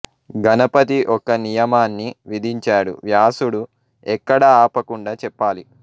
గణపతి ఒక నియమాన్ని విధించాడు వ్యాసుడు ఎక్కడా ఆపకుండా చెప్పాలి